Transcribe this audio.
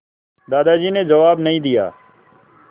दादाजी ने जवाब नहीं दिया